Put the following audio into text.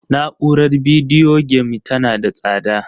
Na'urar bidiyo game tana da tsada